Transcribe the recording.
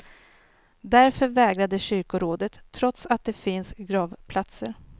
Därför vägrade kyrkorådet, trots att det finns gravplatser.